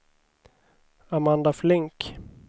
Amanda Flink